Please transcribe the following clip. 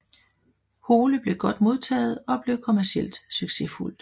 Hole blev godt modtaget og blev kommercielt succesfuldt